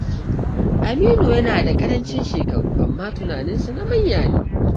Aminu yana da ƙarancin shekaru, amma tunaninsa na manya ne.